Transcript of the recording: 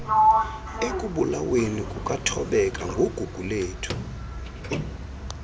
ekubulaweni kukathobeka nguguguiethu